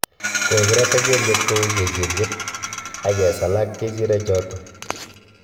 Kogirata kelyek kou kechiryet age sala kericheek choto